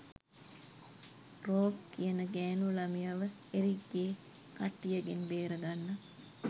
rogue කියන ගෑණු ළමයව එරික්ගේ කට්ටියගෙන් බේරගන්න